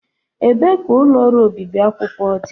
Ebee ka ụlọ ọrụ obibi akwụkwọ dị?